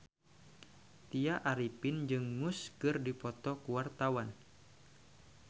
Tya Arifin jeung Muse keur dipoto ku wartawan